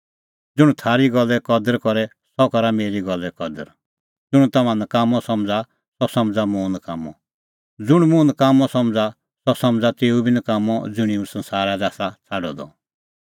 ज़ुंण थारी गल्ले कदर करे सह करा मेरी गल्ले कदर ज़ुंण तम्हां नकाम्मअ समझ़ा सह समझ़ा मुंह नकाम्मअ ज़ुंण मुंह नकाम्मअ समझ़ा सह समझ़ा तेऊ बी नकाम्मअ ज़ुंणी हुंह संसारा लै आसा छ़ाडअ द